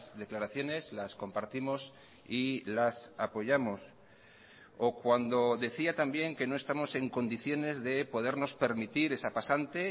declaraciones las compartimos y las apoyamos o cuando decía también que no estamos en condiciones de podernos permitir esa pasante